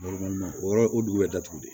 o yɔrɔ o dugu bɛ datugu de